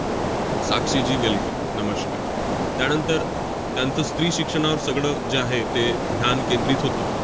Sakshi ji welcome नमस्कार. त्यानंतर त्यांचं स्त्रीशिक्षणावर सगळं जे आहे ते ध्यान केंद्रित होतं.